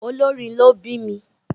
olórin ló bími.